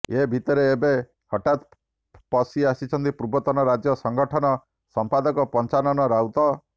ଏ ଭିତରେ ଏବେ ହଠାତ ପସି ଆସିଛନ୍ତି ପୂର୍ବତନ ରାଜ୍ୟ ସଙ୍ଗଠନ ସମ୍ପାଦକ ପଞ୍ଚାନନ ରାଉତ